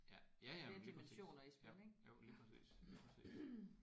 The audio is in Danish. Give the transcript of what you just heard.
Ja. Ja ja men lige præcis ja. Jo lige præcis lige præcis